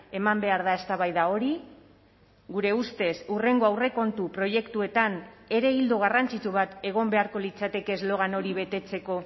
eman behar da eztabaida hori gure ustez hurrengo aurrekontu proiektuetan ere ildo garrantzitsu bat egon beharko litzateke eslogan hori betetzeko